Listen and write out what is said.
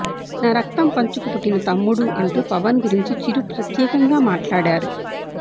నా రక్తం పంచుకు పుట్టిన తమ్ముడు అంటూ పవన్ గురించి చిరు ప్రత్యేకంగా మాట్లాడారు